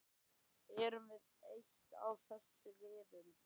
Erum við eitt af þessum liðum?